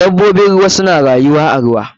Dabobin ruwa suna rayuwa a ruwa.